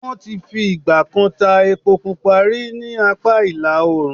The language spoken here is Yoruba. Wọ́n ti fi ì̀gbà kan ta epo pupa rí ní apá ìlà oòrùn.